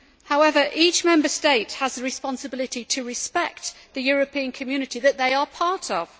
However, each Member State has the responsibility to respect the European Community that they are part of.